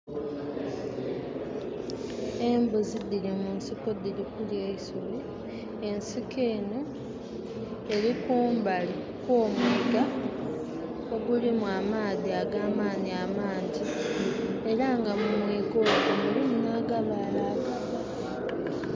Embuzi dhiri mu nsiko dhiri kulya eisubi, ensiko enho eri kumbali kwo'mwiga ogulimu amaadhi agamaanhi amangi, era nga mu mwiga omwo mulimu nha'gabaale agaba.